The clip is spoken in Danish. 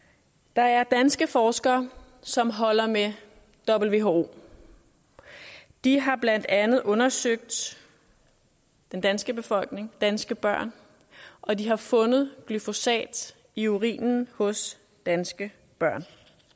der er danske forskere som holder med who de har blandt andet undersøgt den danske befolkning danske børn og de har fundet glyfosat i urinen hos danske børn